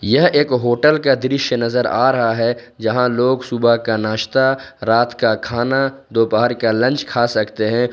यह एक होटल का दृश्य नजर आ रहा है जहां लोग सुबह का नाश्ता रात का खाना दोपहर का लंच खा सकते हैं।